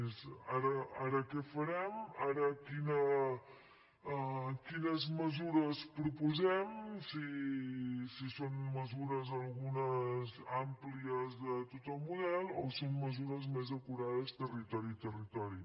és ara què farem ara quines mesures proposem si són mesures algunes àmplies de tot el model o són mesures més acurades territori a territori